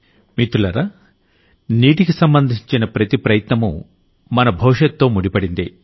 మిత్రులారా నీటికి సంబంధించిన ప్రతి ప్రయత్నమూ మన భవిష్యత్తుతో ముండిపడిందే